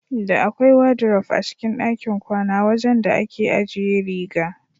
Da akwai wadiruf a cikin ɗakin kwana wajan da ake ajiye riga.